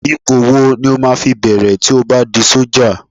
Ipò wo ni o máa fi bẹ̀rẹ̀ tí o bá di sọ́jà?